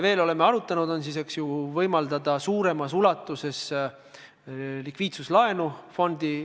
Me oleme arutanud veel seda, et võimaldada fondivalitsejatele suuremas ulatuses likviidsuslaenu.